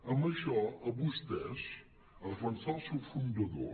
en això a vostès defensar el seu fundador